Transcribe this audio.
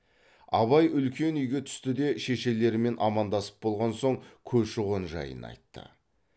абай үлкен үйге түсті де шешелерімен амандасып болған соң көші қон жайын айтты